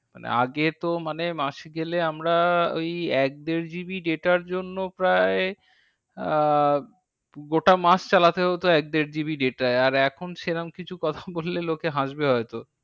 মানে আগে তো মানে মাস গেলে আমরা ওই এক দেড় GB data র জন্য প্রায় আহ গোটা মাস চালাতে হতো এক দেড় GB data য়। আর এখন সেরম কিছু কথা বললে লোকে হাসবে হয়তো।